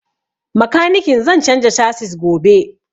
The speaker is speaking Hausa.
Makanikin zan canza casis gobe